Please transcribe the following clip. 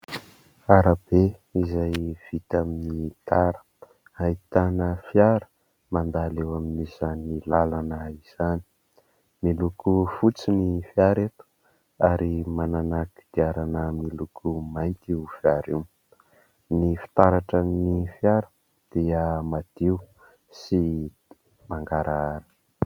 Arabe izay vita amin'ny tara ahitana fiara mandalo eo amin'izany lalana izany, miloko fotsy ny fiara eto ary manana kodiarana miloko mainty io fiara io. Ny fitaratran'ny fiara dia madio sy mangarahara.